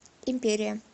империя